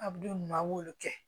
A bɛ don ɲuman aw b'olu kɛ